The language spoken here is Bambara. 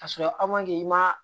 Ka sɔrɔ i ma